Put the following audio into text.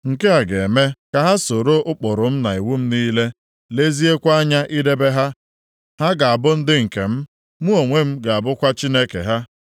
Nke a ga-eme ka ha soro ụkpụrụ m na iwu m niile, leziekwa anya idebe ha. Ha ga-abụ ndị nke m, mụ onwe m ga-abụkwa Chineke ha.